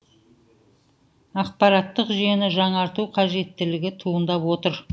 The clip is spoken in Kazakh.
ақпараттық жүйені жаңарту қажеттілігі туындап отыр